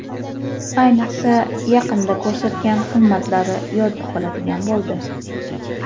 Ayniqsa, yaqinda ko‘rsatgan himmatlari yodda qoladigan bo‘ldi.